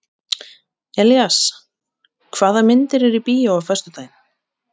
Elías, hvaða myndir eru í bíó á föstudaginn?